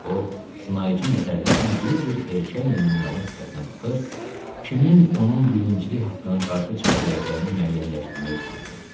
O sınaycı nəzərlərlə bir-bir erkək meymunların sifətinə baxır, kimin onun birincilik haqqına qarşı çıxa biləcəyini müəyyənləşdirmək istəyirdi.